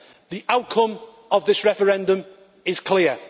The outcome of this referendum is clear.